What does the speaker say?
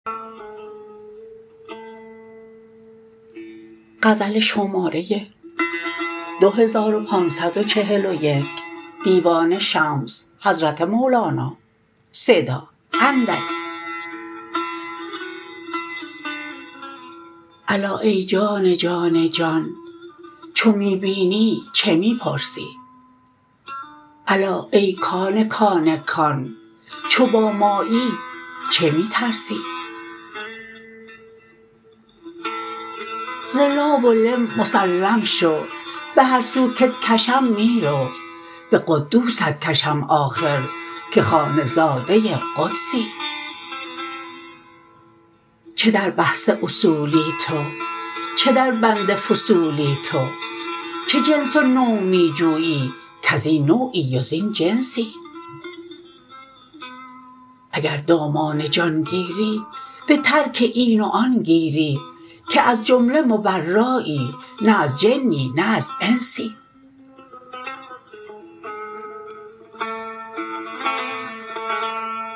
الا ای جان جان جان چو می بینی چه می پرسی الا ای کان کان کان چو با مایی چه می ترسی ز لا و لم مسلم شو به هر سو کت کشم می رو به قدوست کشم آخر که خانه زاده قدسی چه در بحث اصولی تو چه دربند فصولی تو چه جنس و نوع می جویی کز این نوعی و زین جنسی اگر دامان جان گیری به ترک این و آن گیری که از جمله مبرایی نه از جنی نه از انسی